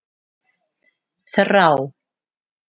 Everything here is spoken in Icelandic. Þrá